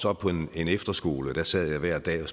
op på en efterskole og der sad jeg hver dag